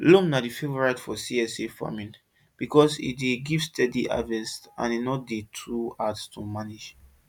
loam na di favorite for csa farming because e dey give steady harvest and e no too hard to manage